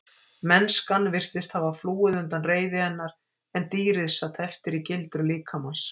Mennskan virtist hafa flúið undan reiði hennar en dýrið sat eftir í gildru líkamans.